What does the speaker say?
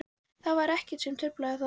Það var ekkert sem truflaði þá.